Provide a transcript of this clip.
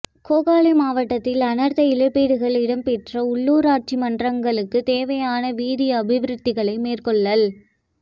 கேகாலை மாவட்டத்தில் அனர்த்த இழப்பீடுகள் இடம்பெற்ற உள் ளூ ராட்சி மன்றங்களுக்குத் தேவையான வீதி அபிவிருத்திகளை மேற்கொள்ளல்